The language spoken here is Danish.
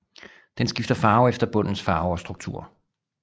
Den skifter farve efter bundens farve og struktur